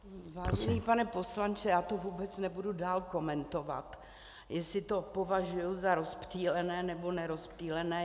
Vážený pane poslanče, já to vůbec nebudu dál komentovat, jestli to považuji za rozptýlené, nebo nerozptýlené.